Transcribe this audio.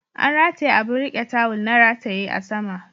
An rataye abin riƙe tawul na rataye a sama